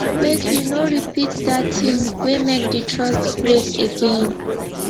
make you no repeat dat tin wey make di trust break again